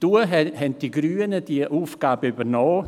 Damals haben die Grünen diese Aufgabe übernommen.